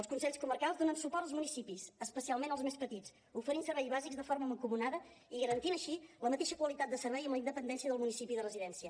els consells comarcals donen suport als municipis especialment als més petits oferint serveis bàsics de forma mancomunada i garantint així la mateixa qualitat de servei amb independència del municipi de residència